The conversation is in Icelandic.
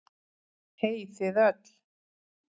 Hey þið öll.